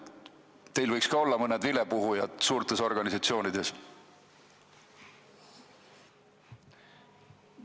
Teil võiks suurtes organisatsioonides olla mõned vilepuhujad.